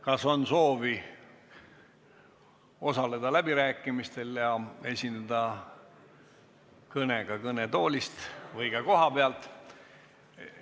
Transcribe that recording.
Kas on soovi osaleda läbirääkimistel ja esineda kõnega kõnetoolis või kohapeal?